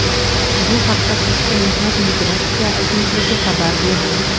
Bu haqda Tashqi mehnat migratsiya agentligi xabar berdi.